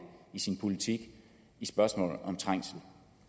i sin politik i spørgsmålet om trængsel